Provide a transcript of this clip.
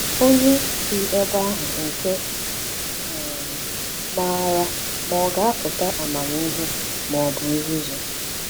Ònye dị ebe ahụ nke um maara ma ọ ga-apụta amamihe ma ọ bụ nzuzu?